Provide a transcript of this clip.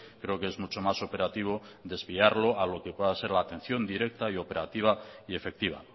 creo que es mucho más operativo desviarlo a lo que pueda ser la atención directa y operativa y efectiva